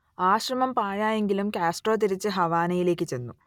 ആ ശ്രമം പാഴായിപോയെങ്കിലും കാസ്ട്രോ തിരിച്ചു ഹവാനയിലേക്കു ചെന്നു